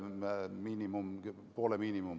Aitäh!